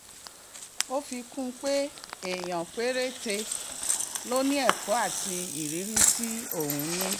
ó fi kún un pé èèyàn péréte ló ní ẹ̀kọ́ àti ìrírí tí òun ní